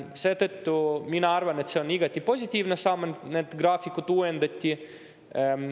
Seetõttu ma arvan, et see on igati positiivne samm, et graafikut uuendati.